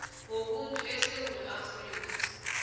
wobuntu esewula afrika